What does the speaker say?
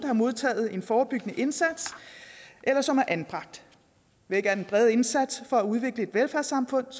har modtaget en forebyggende indsats eller som er anbragt væk er den brede indsats for at udvikle et velfærdssamfund